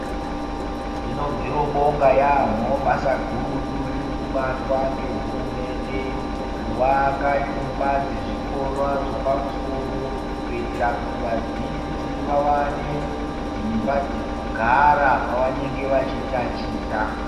Tinobviro bonga yaambo basa gurutu ririkubatwa ngehurumende kuvaka nyumba dzezvikora zvapamusoro. Kuitira kuti vadzidzi vavane dzimba dzekugara pavanenge vachitachita.